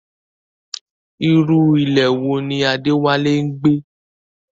Irú ilé wo ni Adewale ń gbé?